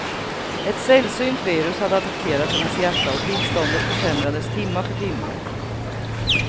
Ett sällsynt virus hade attackerat hennes hjärta och tillståndet försämrades timma för timma.